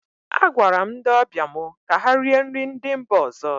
Agwara m ndị ọbịa mụ ka ha rie nri ndị mba ọzọ